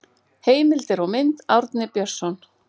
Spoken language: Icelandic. Heimildir og mynd Árni Björnsson.